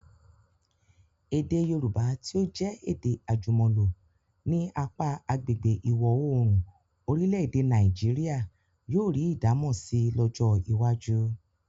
Èdè Yorùbá tí ó jẹ́ èdè àjùmọ̀lò ní apá agbègbè ìwọ̀-oòrùn orílẹ̀-èdè Nàìjíríà yóò rí ìdámọ̀ si lọ́jọ́ iwájú.